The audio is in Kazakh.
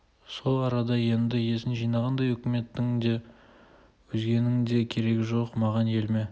сол арада енді есін жинағандай үкіметтің де өзгенің де керегі жоқ маған еліме